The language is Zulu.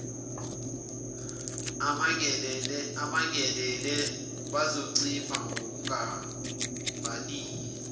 abangenele bazoncipha ngokungabaniki